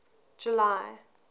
july